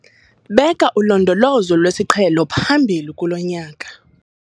Beka ulondolozo lwesiqhelo phambili kulo nyaka